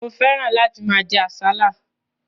Mo fẹ́ràn láti máa jẹ àsálà.